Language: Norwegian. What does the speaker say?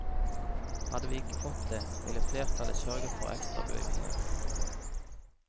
Hadde vi ikke fått det, ville flertallet sørget for ekstrabevilgninger.